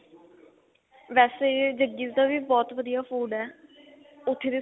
ਵੇਸੇ ਜੱਗੀ ਦਾ ਵੀ ਬਹੁਤ ਵਧੀਆ food ਹੈ ਉੱਥੇ ਦੇ